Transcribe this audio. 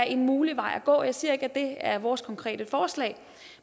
en mulig vej at gå jeg siger ikke er vores konkrete forslag